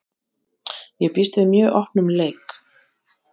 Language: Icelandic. Ég býst við mjög opnum leik.